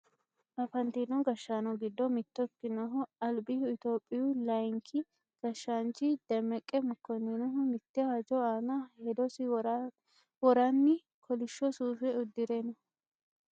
Afantino gashshaano giddo mitto ikkinohu albihu Itiyophiyu layeenki gashshaanchi demmeqe mokkoninihu mitte hajo aana hedosi woranni kolishsho suufe uddire no